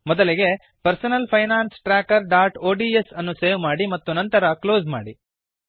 ಮೊದಲಿಗೆ personal finance trackerಒಡಿಎಸ್ ಅನ್ನು ಸೇವ್ ಮಾಡಿ ಮತ್ತು ನಂತರ ಕ್ಲೋಸ್ ಮಾಡಿ